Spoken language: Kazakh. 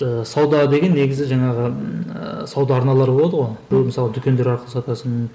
ыыы сауда деген негізі жаңағы ыыы сауда арналары болады ғой біреу мысалы дүкендер арқылы сатасың